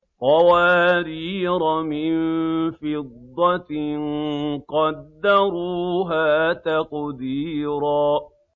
قَوَارِيرَ مِن فِضَّةٍ قَدَّرُوهَا تَقْدِيرًا